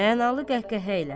Mənalı qəhqəhə ilə.